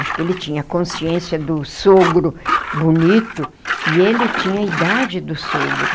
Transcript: Acho que ele tinha a consciência do sogro bonito, e ele tinha a idade do sogro.